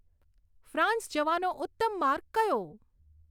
France જવાનો ઉત્તમ માર્ગ કયો